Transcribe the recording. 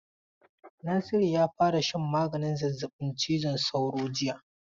Nasiru ya fara shan maganin zazzabin cizon sauro jiya.